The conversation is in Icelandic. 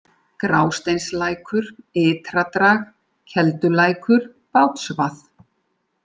Grásteinslækur, Ytradrag, Keldulækur, Bátsvað